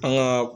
An ka